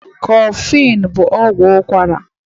Kolini bu ọgwụ ụkara